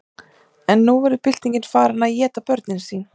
en nú var byltingin farin að éta börnin sín